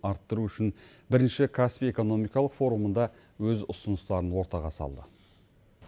арттыру үшін бірінші каспий экономикалық форумында өз ұсыныстарын ортаға салды